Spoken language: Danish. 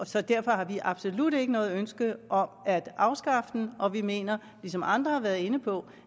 så derfor har vi absolut ikke noget ønske om at afskaffe den og vi mener ligesom andre har været inde på